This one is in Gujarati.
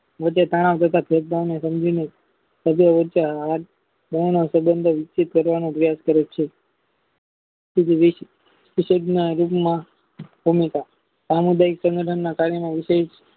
વધે તાના ઘાતક યોજનાની સમજીને ઘણા સબંધો વિકસિત કરવાનો અભ્યાસ કરે છે વિવિધ સામુદાયિક સંગઠનના કાર્યો વીસે